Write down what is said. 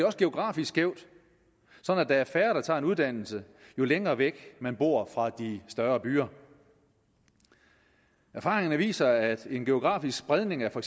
også geografisk skævt sådan at der er færre der tager en uddannelse jo længere væk man bor fra de større byer erfaringerne viser at en geografisk spredning af for